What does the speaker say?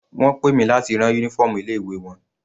Wọ́n pè mi láti rán uniform ilé ìwé wọn.